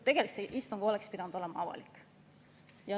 Tegelikult oleks see istung pidanud olema avalik.